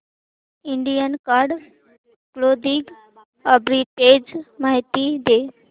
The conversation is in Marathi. इंडियन कार्ड क्लोदिंग आर्बिट्रेज माहिती दे